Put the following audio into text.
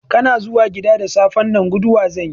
Kana zuwa gida da safen nan, guduwa zanyi?